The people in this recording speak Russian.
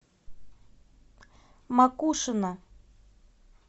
макушино